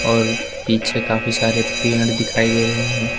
और पीछे काफी सारे पेड़ दिखाई दे रहे हैं।